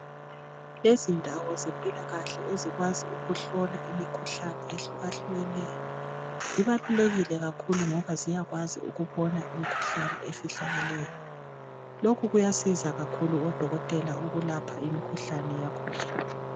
Izindawo zempilakahle ezikwazi ukuhlola imikhuhlane ehlukehlukeneyo, zibalulekile kakhulu ngoba ziyakwazi ukubona imikhuhlane efihlakeleyo . Lokhu kuyasiza kakhulu odokotela ukulapha imikhuhlane yakhona.